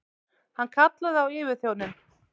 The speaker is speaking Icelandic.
Hann kallaði á yfirþjóninn.